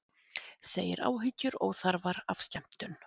Segir áhyggjur óþarfar af skemmtun